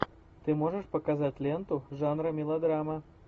ты можешь показать ленту жанра мелодрама